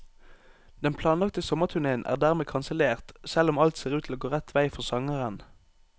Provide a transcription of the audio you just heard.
Den planlagte sommerturnéen er dermed kansellert, selv om alt ser ut til å gå rett vei for sangeren.